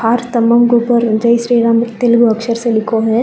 स्तम्भो के उपर जय श्री राम तेलुगू अक्षर से लिखो है।